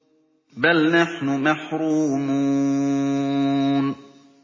بَلْ نَحْنُ مَحْرُومُونَ